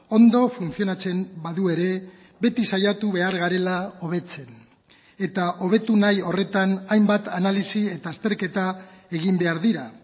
ondo funtzionatzen badu ere beti saiatu behar garela hobetzen eta hobetu nahi horretan hainbat analisi eta azterketa egin behar dira